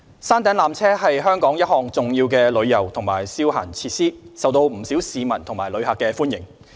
山頂纜車是香港一項重要的旅遊及消閒設施，受到不少市民和旅客歡迎。